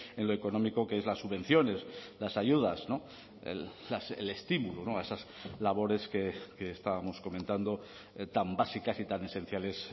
en lo económico que es las subvenciones las ayudas el estímulo a esas labores que estábamos comentando tan básicas y tan esenciales